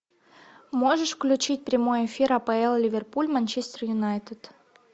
можешь включить прямой эфир апл ливерпуль манчестер юнайтед